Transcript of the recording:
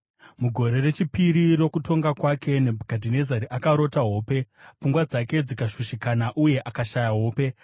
Mugore rechipiri rokutonga kwake, Nebhukadhinezari akarota hope; pfungwa dzake dzikashushikana uye akashaya hope.